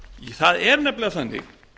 það er nefnilega þannig